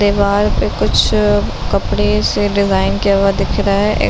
दिवार पे कुछ कपड़े से डिज़ाइन किया हुआ दिख रहा है। ए --